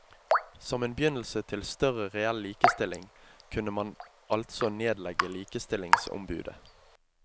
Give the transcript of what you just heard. Som en begynnelse til større reell likestilling kunne man altså nedlegge likestillingsombudet.